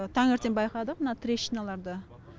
таңертең байқадық мына трещиналарды